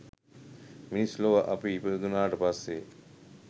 මිනිස් ලොව අපි ඉපදුනාට පස්සේ